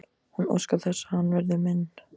Hún óskar þess að hann verði minn.